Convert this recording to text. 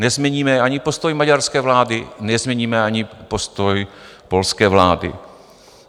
Nezměníme ani postoj maďarské vlády, nezměníme ani postoj polské vlády.